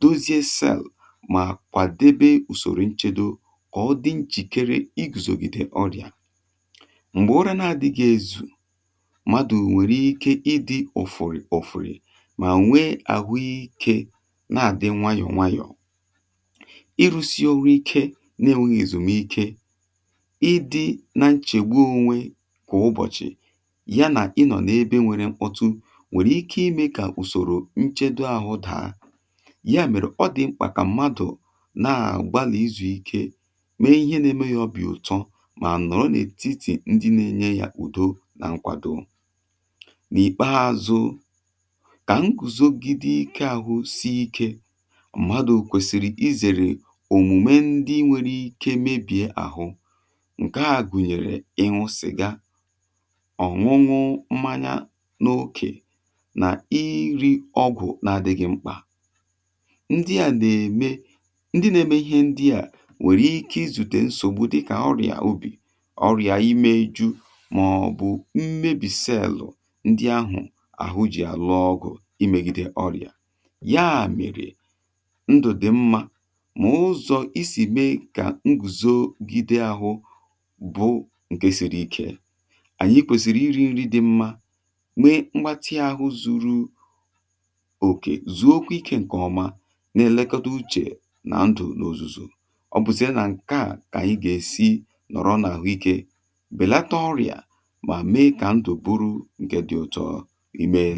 dozie selu ma kwadebe usoro nchedo. Mgbe ụra na-adị gị ezù, mmadụ nwere ike ịdị ụfụrị ụfụrị, ma nwee ahụ ike na-adị nwayọ nwayọ. Ịrụsị ọrụ ike na-enweghi ezumike, ịdị na nchegbu onwe kwa ụbọchị, yana ịnọ na ebe nwere mkpọtụ, nwere ike ime ka usoro nchedo ahụ daa. Ya mere, ọ dị mkpa ka mmadụ na-agbalị izu ike, ma nọrọ n’etiti ndị na-enye ya ụzọ, udo na nkwado. N’ikpeazụ, ka nguzogide ahụ si ike, mmadụ kwesiri izere omụma ndị nwere ike mebie ahụ. Nke a gụnyere: Ịhụ siga, Ịṅụ mmanya n’okè, Na iri ọgwụ na-adịghị mkpa. Ndị a na-eme ka ndị na-eme ihe ndị a nwee ike izute nsogbu dị ka ọrịa imeju maọbụ mmebi selu ndị ahụ ji alụ ọgụ megide ọrịa. Ya mere, ndụ dị mma na ụzọ esi mee ka nguzogide ahụ sie ike bụ: Iri nri dị mma, Mee mmega ahụ zuru oke, zuo ike nke ọma, na-elekọta uche na ndụ n’ozuzu. Ọ bụ isi na nka a belata ọrịa ma mee ka ndoburu nke dị ụtọ. I meela!